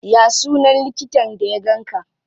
Ya sunan likitan da ya ganka?